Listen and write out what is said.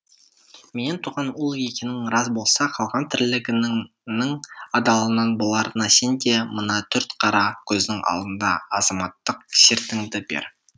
менен туған ұл екенің рас болса қалған тірлігіңнің адалынан боларына сен де мына төрт қара көздің алдында азаматтық сертіңді бер